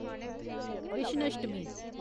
Krishnashtami